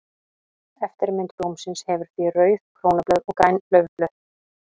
Eftirmynd blómsins hefur því rauð krónublöð og græn laufblöð.